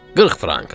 40 frank.